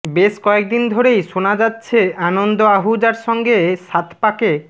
বেশ কয়েকদিন ধরেই শোনা যাচ্ছে আনন্দ আহুজার সঙ্গে সাতপাকে